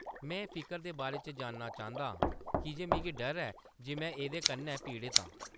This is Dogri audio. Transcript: में फिकर दे बारे च जानना चांह्‌‌‌दा आं कीजे मिगी डर ऐ जे में एह्‌‌‌दे कन्नै पीड़त आं।